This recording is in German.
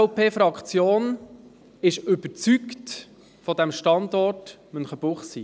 Die SVP-Fraktion ist vom Standort Münchenbuchsee überzeugt.